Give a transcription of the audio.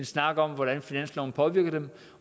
snak om hvordan finansloven påvirker dem